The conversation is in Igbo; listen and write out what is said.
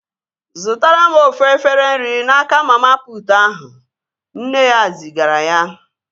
Zụtara m ofu efere nri n'aka mama putu ahụ! Nne ya zigara ya